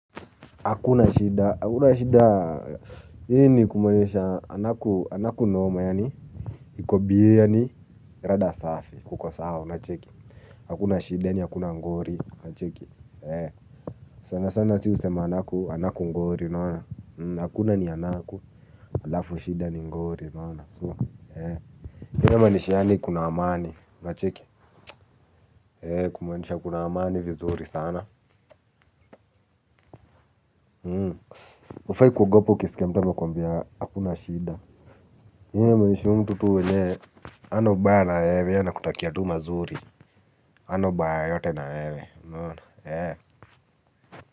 Hakuna shida hakuna shida hii ni kumaanisha anaku anaku noma yaani. Hiko biye yaani rada safi kuko sawa unacheki. Hakuna shida yaani hakuna ngori unacheki. Eh. Sana sana ati husema anaku anaku ngori unaona. Hakuna ni anaku. Halafu shida ni ngori unaona. So Eeh. Hii inamaanisha yaani kuna amani na unacheki. Eh. Kumaanisha kuna amani vizuri sana. Hufai kugopa ukisikia mtu amekuambia hakuna shida. Hii inamaanisha mtu tu mwenye hana ubaya na wewe ye anakutakia tu mazuri hana ubaya yoyote na wewe unaona eeh.